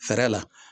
Fɛɛrɛ la